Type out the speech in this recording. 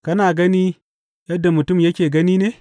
Kana gani yadda mutum yake gani ne?